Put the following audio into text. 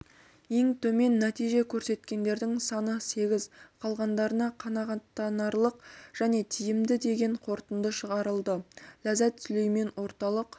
ең төмен нәтиже көрсеткендердің саны сегіз қалғандарына қанағаттанарлық және тиімді деген қорытынды шығарылды ләззат сүлеймен орталық